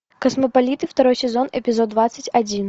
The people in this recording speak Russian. космополиты второй сезон эпизод двадцать один